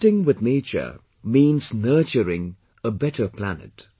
Connecting with nature means nurturing a better planet